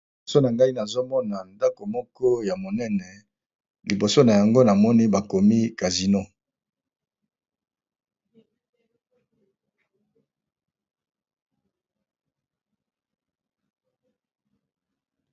Liboso nangai nazomona eza ndako moko ya monene liboso nango bakomi casino